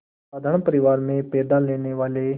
साधारण परिवार में पैदा लेने वाले